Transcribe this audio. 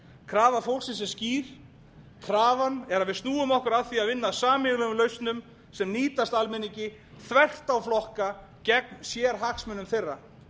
krafa fólksins er skýr krafan er að við snúum ekki saman að því að vinna að sameiginlegum lausnum sem nýtast almenningi þvert á flokka gegn sérhagsmunum þeirra